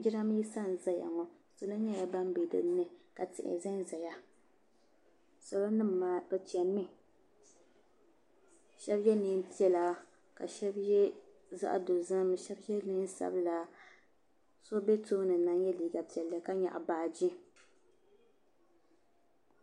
Jiranbisa n ʒayaŋɔ. salɔ nyala ban be dini ka tihi zan zaya salɔ nim maa bɛ chemi mi shabi ye neem piɛla ka shabi ye neen' ʒɛhi ka shabi ye zaɣi do zim ka shabi ye neen' sabila so be tooni na n ye liiga piɛli ka nyɛɣi baaji.